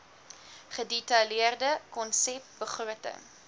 gedetailleerde konsep begroting